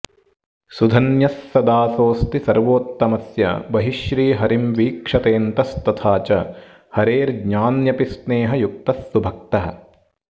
सुधन्यः स दासोऽस्ति सर्वोत्तमस्य बहिः श्रीहरिं वीक्षतेऽन्तस्तथा च हरेर्ज्ञान्यपि स्नेहयुक्तः सुभक्तः